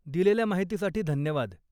दिलेल्या माहितीसाठी धन्यवाद.